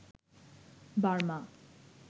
Burma